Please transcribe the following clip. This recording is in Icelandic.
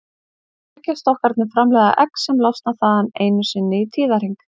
Eggjastokkarnir framleiða egg sem losna þaðan einu sinni í tíðahring.